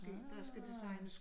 Ah